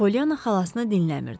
Polyanna xalasını dinləmirdi.